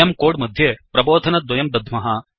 वयं कोड् मध्ये प्रबोधनद्वयं दद्ध्मः